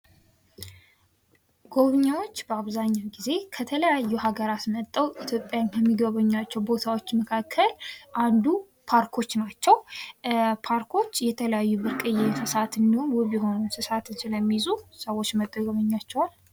ጎብኚዎች በአብዛኛው ጊዜ ከተለያዩ ሀገራት መጥተው ኢትዮጵያን ከሚጎበኟቸው ቦታዎች መካከል አንዱ ፓርኮች ናቸው። ፓርኮች የተለያዩ ብርቅዬ እንስሳትን እንዲሁም ውብ የሆኑ እንስሳትን ስለሚይዙ ሰዎች መጥተው ይጎበኟቸዋል።